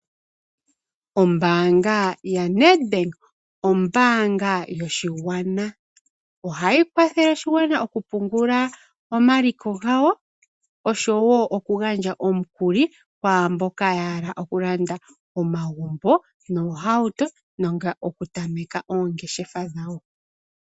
Ombaanga yaNetbank, Ombaanga yoshigwana. Ohayi kwathele oshigwana okupungula omaliko gawo oshowo okugandja omukuli kwaa mboka ya hala okulanda omagumbo noohauto nenge okutameka oongeshefa dhawo.